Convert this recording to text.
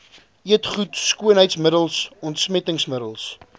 eetgoed skoonheidsmiddels ontsmettingsmiddels